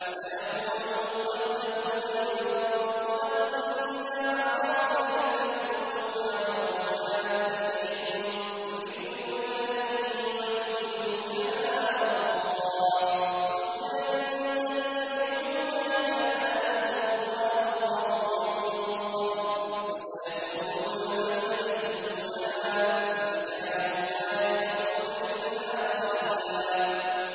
سَيَقُولُ الْمُخَلَّفُونَ إِذَا انطَلَقْتُمْ إِلَىٰ مَغَانِمَ لِتَأْخُذُوهَا ذَرُونَا نَتَّبِعْكُمْ ۖ يُرِيدُونَ أَن يُبَدِّلُوا كَلَامَ اللَّهِ ۚ قُل لَّن تَتَّبِعُونَا كَذَٰلِكُمْ قَالَ اللَّهُ مِن قَبْلُ ۖ فَسَيَقُولُونَ بَلْ تَحْسُدُونَنَا ۚ بَلْ كَانُوا لَا يَفْقَهُونَ إِلَّا قَلِيلًا